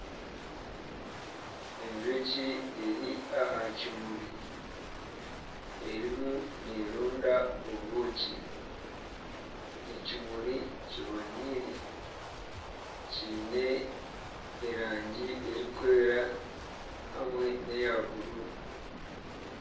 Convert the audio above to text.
Enjoki eri aha kimuri erimu neeronda obwooki ekimuri kibonaire kiine erangi erikwera hamwe neya bururu.